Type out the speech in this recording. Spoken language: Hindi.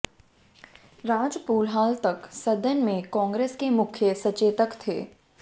राजपूत हाल तक सदन में कांग्रेस के मुख्य सचेतक थे